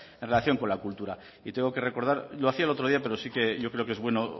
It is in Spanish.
en relación con la cultura y tengo que recordar y lo hacía el otro día pero sí que yo creo que es bueno